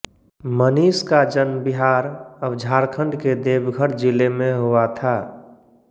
मनीष का जन्म बिहारअब झारखण्ड के देवघर जिले में हुआ था